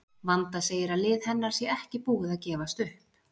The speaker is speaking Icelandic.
Vanda segir að lið hennar sé ekki búið að gefast upp.